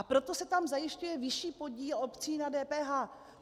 A proto se tam zajišťuje vyšší podíl obcí na DPH.